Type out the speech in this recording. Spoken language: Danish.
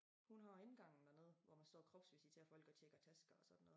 Hun har indgangen dernede hvor man står og kropsvisiterer folk og tjekker tasker og sådan noget